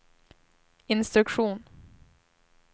instruktion